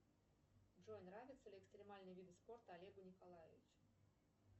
джой нравятся ли экстремальные виды спорта олегу николаевичу